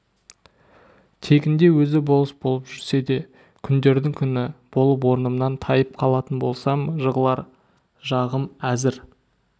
тегінде өзі болыс болып жүрсе де күндердің күні болып орнымнан тайып қалатын болсам жығылар жағым әзір